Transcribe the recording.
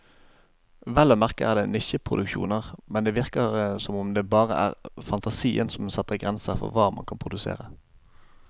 Vel å merke er det nisjeproduksjoner, men det virker som om det bare er fantasien som setter grenser for hva man kan produsere.